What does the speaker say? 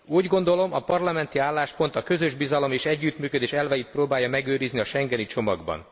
Úgy gondolom, a parlamenti álláspont a közös bizalom és együttműködés elveit próbálja megőrizni a schengeni csomagban.